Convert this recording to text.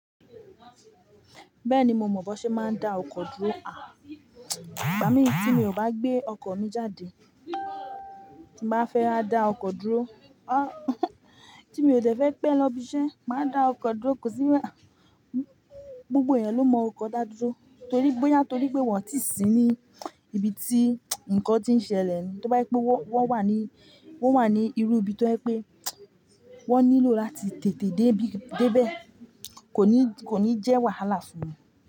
Bẹ́ẹ̀ni mo mọ̀ bọ ṣe máa ń dá ọkọ̀ dúró. À, ìgbà mí tí mi ò bá gbé ọkọ̀ mi jáde, tí bá fẹ́ wa dá ọkọ̀ dúró, a tí mi ò dẹ̀ fẹ́ pẹ lọ ibi iṣẹ́, màá dá ọkọ̀ dúró. Kò sí wà, gbogbo èyan ló mọ ọkọ̀ dá dúró torí boya torí pé wọ́n ti sí ní ibi tí ńǹkan tí ń ṣẹlẹ̀. Toba yẹ pe wọ́n, wọ́n wà ní, wọ́n wà ní irú ibi tí ó ha pé wọ́n nílò láti tètè dé ibi, dé bẹ́ẹ̀, kò ní, kò ní jẹ́ wàhálà fún mi.